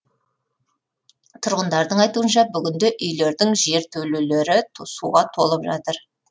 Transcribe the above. тұрғындардың айтуынша бүгінде үйлердің жертөлелері суға толып жатыр